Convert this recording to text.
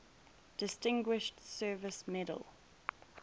distinguished service medal